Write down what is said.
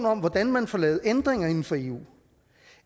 om hvordan man får lavet ændringer inden for eu